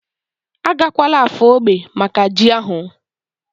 Agakwala Afo ógbè maka ji ahu?